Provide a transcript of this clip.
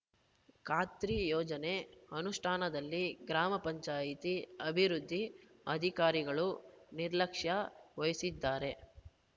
ಖಾತ್ರಿ ಯೋಜನೆ ಅನುಷ್ಠಾನದಲ್ಲಿ ಗ್ರಾಮ ಪಂಚಾಯತಿ ಅಭಿವೃದ್ದಿ ಅಧಿಕಾರಿಗಳು ನಿರ್ಲಕ್ಷ್ಯ ವಹಿಸಿದ್ದಾರೆ